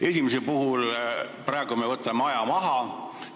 Esimese eelnõuga me praegu võtame aja maha.